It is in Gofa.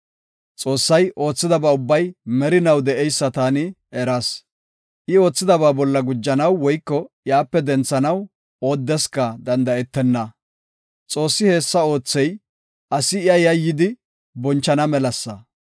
Xoossay oothidaba ubbay merinaw de7eysa taani eras; I oothidaba bolla gujanaw woyko iyape denthanaw oodesika danda7etenna. Xoossi hessa oothey, asi iya yayyidi bonchana melasa.